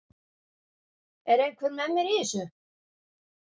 Er einhver með mér í þessu?